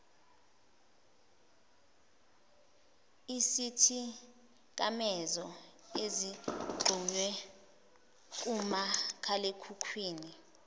isithikamezo ezixhunywe kumakhalekhukhwini